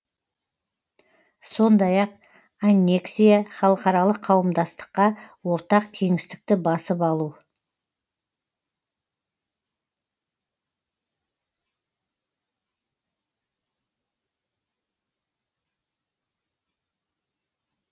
сондай ақ аннексия халықаралық қауымдастыққа ортақ кеңістікті басып алу